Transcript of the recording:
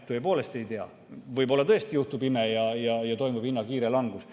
Tõepoolest ei tea, võib-olla tõesti juhtub ime ja toimub hinna kiire langus.